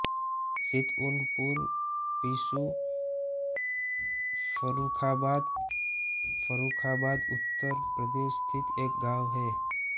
सितउनपुर पिसू फर्रुखाबाद फर्रुखाबाद उत्तर प्रदेश स्थित एक गाँव है